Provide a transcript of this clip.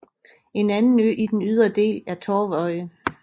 En anden ø i den ydre del er Torvøy